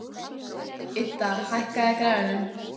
Idda, hækkaðu í græjunum.